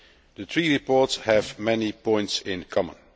The three reports have many points in common.